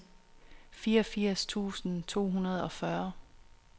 fireogfirs tusind to hundrede og fyrre